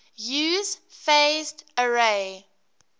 use phased array